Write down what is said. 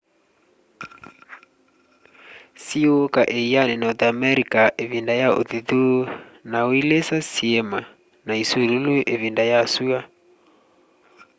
siũũka ĩanĩ north america ivinda ya uthithũ na uilisa syima na isulũlũ ivinda ya sua